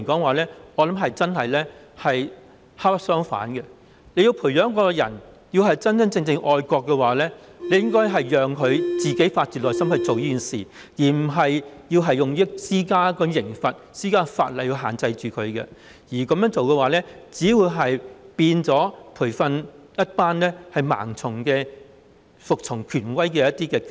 我認為這種做法是本末倒置，要培養一個真正愛國的人，應該讓他發自內心去做，而不是透過立法和施加刑罰來限制他，這樣做只會培訓出一群盲目服從權威的機器。